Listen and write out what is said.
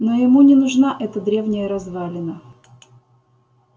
но ему не нужна эта древняя развалина